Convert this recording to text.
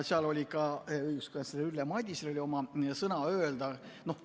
Seal oli ka õiguskantsler Ülle Madisel oma sõna öelda.